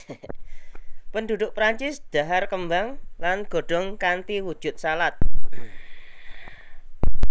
Penduduk Prancis dhahar kembang lan godhong kanthi wujud salad